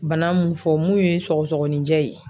Bana mun fɔ mun ye sɔgɔsɔgɔninjɛ ye.